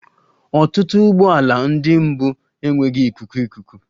Ọtụtụ ụgbọ ala ndị mbụ enweghị ikuku ikuku